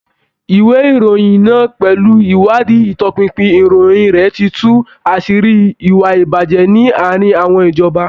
Ìwé ìròyìn náà pẹ̀lú ìwádìí ìtọpinpin ìròyìn rẹ̀ ti tú àṣírí ìwà ìbàjẹ́ ní àárín àwọn ìjọba.